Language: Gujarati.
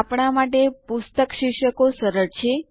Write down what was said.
આપણા માટે પુસ્તક શીર્ષકો સરળ છે